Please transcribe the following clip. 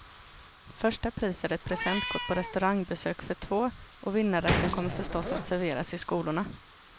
Första pris är ett presentkort på restaurangbesök för två, och vinnarrätten kommer förstås att serveras i skolorna.